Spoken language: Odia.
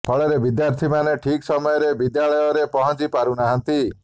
ଫଳରେ ବିଦ୍ୟାର୍ଥୀ ମାନେ ଠିକ ସମୟରେ ବିଦ୍ୟାଳୟ ରେ ପହଁଚି ପାରୁନହାନ୍ତି